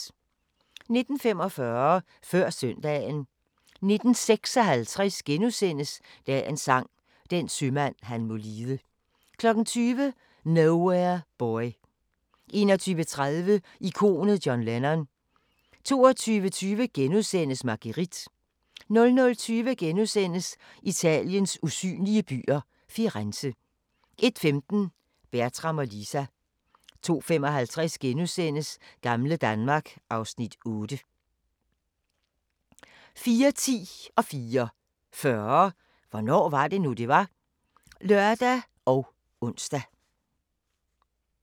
19:45: Før søndagen 19:56: Dagens Sang: Den sømand han må lide * 20:00: Nowhere Boy 21:30: Ikonet John Lennon 22:20: Marguerite * 00:20: Italiens usynlige byer – Firenze * 01:15: Bertram og Lisa 02:55: Gamle Danmark (Afs. 8)* 04:10: Hvornår var det nu, det var? (lør og ons) 04:40: Hvornår var det nu, det var? (lør og tir-ons)